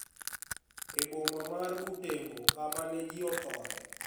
E boma mar Butembo kama ne ji othoe